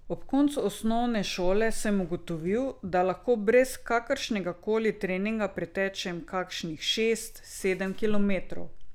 Ob koncu osnovne šole sem ugotovil, da lahko brez kakršnega koli treninga pretečem kakšnih šest, sedem kilometrov.